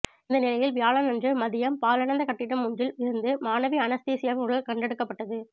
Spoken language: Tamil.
இந்த நிலையில் வியாழனன்று மதியம் பாழடைந்த கட்டிடம் ஒன்றில் இருந்து மாணவி அனஸ்தேசியாவின் உடல் கண்டெடுக்கப்பட்டது